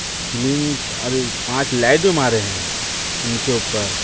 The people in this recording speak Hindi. स्लिम अरे पांच लाइट भी मारे हैं उनके ऊपर।